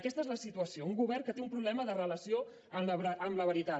aquesta és la situació un govern que té un problema de relació amb la veritat